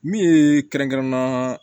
Min ye kɛrɛnkɛrɛnnenya